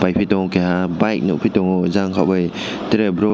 aypi tango keha bike nogpitango jang kobai tere boro--